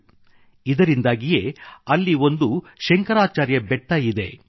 ಇದರಿಂದಾಗಿಯೇ ಅಲ್ಲಿ ಒಂದು ಶಂಕರಾಚಾರ್ಯ ಬೆಟ್ಟ ಶಂಕ್ರಾಚಾರ್ಯ ಹಿಲ್ ಇದೆ